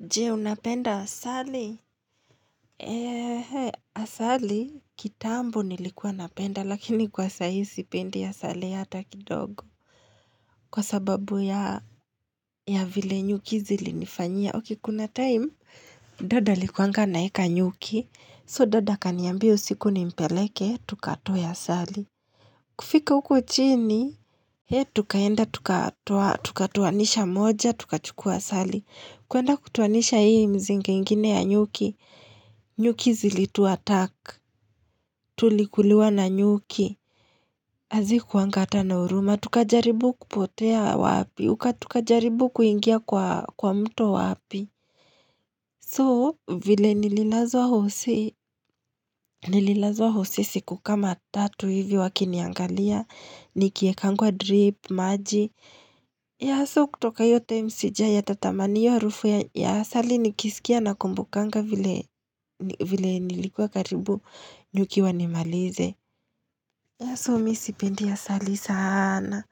Je, unapenda asali? Asali, kitambo nilikuwa napenda, lakini kwa sahii sipendi asali hata kidogo. Kwa sababu ya vile nyuki zilinifanyia. Okay, kuna time, dad alikuanga anaeka nyuki. So, dad akaniambia usiku nimpeleke, tukatoe asali. Kufika huko chini, tukaenda, tukatoanisha moja, tukachukua asali. Kuenda kutoanisha hii mzinga ingine ya nyuki, nyuki zilituattack, tulikuliwa na nyuki, hazikuwanga hata na huruma, tukajaribu kupotea wapi, tukajaribu kuingia kwa mto wapi. So, vile nililazwa hosi, nililazwa hosi siku kama tatu hivi wakiniangalia, nikiekangwa drip, maji. Yeah so, kutoka hiyo time sijai hata tamani. Hiyo harufu ya asali nikiisikia na kumbukanga vile vile nilikuwa karibu nyuki wanimalize. Yeah so, mi sipendi asali sana.